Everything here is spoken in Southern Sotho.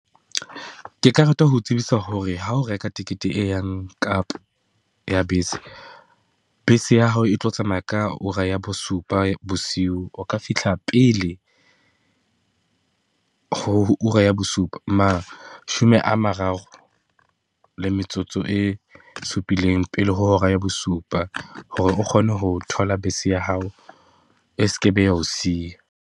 Ke ka rata ho tsebisa hore ha o reka tekete e yang kapa ya bese, bese ya hao e tlo tsamaya ka ura ya bosupa bosiu, o ka fihla pele ho ura ya bosupa, mashome a mararo le metsotso e supileng pele ho hora ya bosupa. Hore o kgone ho thola bese ya hao e seke be ya ho siya.